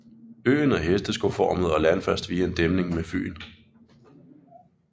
Øen er hesteskoformet og landfast via en dæmning med Fyn